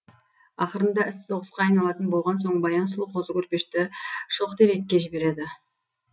ақырында іс соғысқа айналатын болған соң баян сұлу қозы көрпешті шоқтерекке жібереді